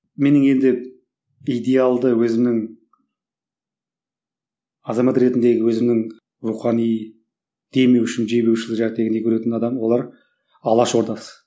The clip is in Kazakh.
менің енді идеалды өзімнің азамат ретіндегі өзімнің рухани демеушім жебеуші көретін адамым олар алаш ордасы